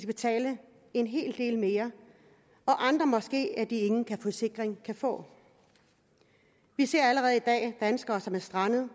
betale en hel del mere og andre måske at de ingen forsikring kan få vi ser allerede i dag danskere som er strandet